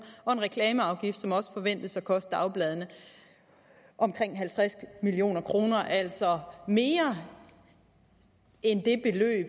og en reklameafgift som også forventes at koste dagbladene omkring halvtreds million kroner det er altså mere end